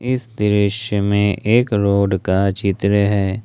इस दृश्य में एक रोड का चित्र है।